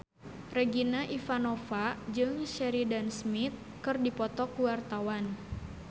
Regina Ivanova jeung Sheridan Smith keur dipoto ku wartawan